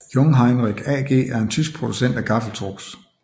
Jungheinrich AG er en tysk producent af gaffeltrucks